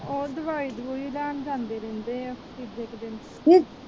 ਉਹ ਦਵਾਈ ਦੁਵਾਈ ਲੈਣ ਜਾਂਦੇ ਰਹਿੰਦੇ ਆ ਤੀਜੇ ਕਾ ਦਿਨ